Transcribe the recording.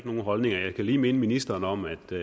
nogen holdninger jeg kan lige minde ministeren om at der